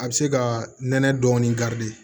A bɛ se ka nɛnɛ dɔɔnin